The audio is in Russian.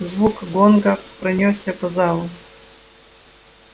звук гонга пронёсся по залу